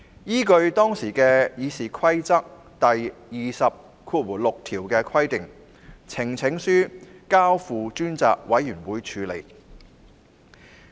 依據當時《議事規則》第206條的規定，呈請書遂交付專責委員會處理。